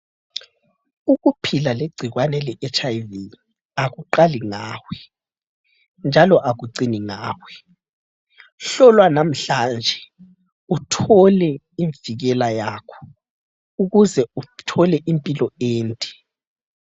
Ukuphila legcikwane leHIV akuqali ngawe njalo akucini ngawe. Hlolwa namhlanje uthole imvikela yakho ukuze uthole impilo ende.